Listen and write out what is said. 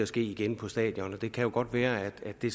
ske igen på et stadion det kan jo godt være at det